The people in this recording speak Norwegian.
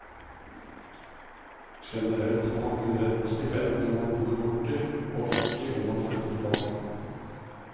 Generelt har man kun rett på stipend når man bor borte, og ikke om man flytter tilbake.